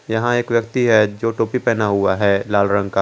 यहां एक व्यक्ति है जो टोपी पहना हुआ है लाल रंग का।